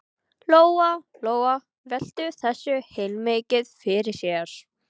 Lóa Lóa velti þessu heilmikið fyrir sér.